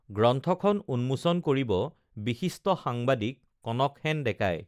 গ্ৰন্থখন উন্মোচন কৰিব বিশিষ্ট সাংবাদিক কনকসেন ডেকাই